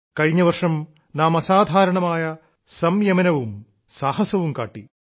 കഴിഞ്ഞവർഷം നാം അസാധാരണമായ സംയമനവും സാഹസവും കാട്ടി